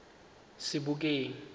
sebokeng